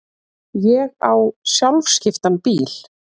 Ég á sjálfskiptan bíl.